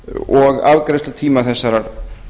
og afgreiðslutíma þessarar